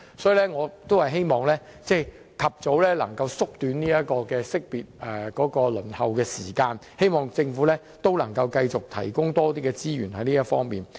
所以，我希望能夠縮短識別的輪候時間，希望政府在這方面能夠繼續提供更多資源。